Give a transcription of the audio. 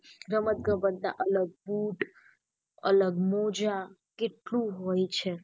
રમત ગમત ના અલગ બુટ અલગ મોજા કેટલું હોય છે.